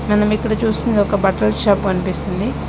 మనం ఇక్కడ చూస్తుంది ఒక బట్టల షాప్ కనిపిస్తుంది.